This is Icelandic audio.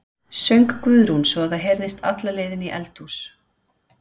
söng Guðrún svo að það heyrðist alla leið inn í eldhús.